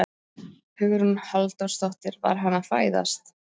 Hugrún Halldórsdóttir: Var hann að fæðast?